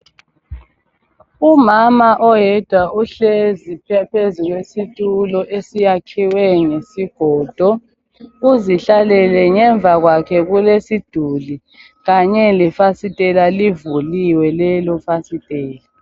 Umama oyedwa uhlezi phezu kwesitulo esiyakhiwe ngesigodo uzihlalele ngemva kwakhe kulesiduli kanye lefasitela livuliwe lelo fasitela.